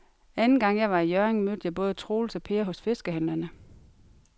Anden gang jeg var i Hjørring, mødte jeg både Troels og Per hos fiskehandlerne.